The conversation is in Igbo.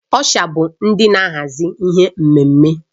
Ọsha bụ ndị na-ahazi ihe na mmemme